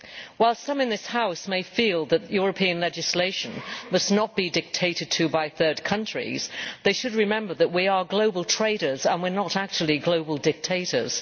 While some in this House may feel that EU legislation must not be dictated to by third countries, they should remember that we are global traders and we are not actually global dictators.